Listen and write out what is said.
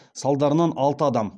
салдарынан алты адам